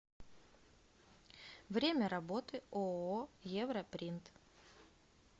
время работы ооо европринт